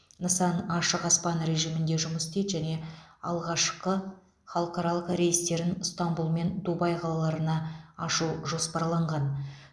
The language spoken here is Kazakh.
нысан ашық аспан режимінде жұмыс істейді және алғашқы халықаралық рейстерін ыстанбұл мен дубай қалаларына ашу жоспарланған